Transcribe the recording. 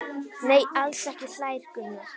Nei, alls ekki hlær Gunnar.